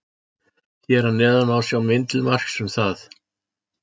Hér að neðan má sjá mynd til marks um það.